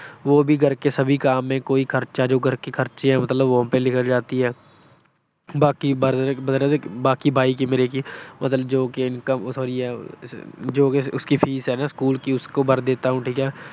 ਵੋ ਵੀ ਘਰ ਕੇ ਸਬੀ ਕਾਮ ਮੇਂ, ਘਰ ਕੇ ਜੋ ਮਤਲਬ ਖਰਚੇ ਹੈਂ ਮਤਲਬ, ਵਹਾ ਪੇ ਨਿਕਲ ਜਾਤੀ ਹੈ। ਬਾਕੀ ਬਰ ਅਹ ਬਰ ਅਹ ਬਾਈ ਕੀ ਮੇਰੇ ਕੀ ਜੋ income ਹੋਈ ਹੈ, ਜੋ ਉਸ ਕੀ ਫੀਸ ਹੈ ਨਾ ਸਕੂਲ ਕੀ, ਉਸਕੋ ਭਰ ਦੇਤਾ ਹੂੰ ਠੀਕ ਹੈ।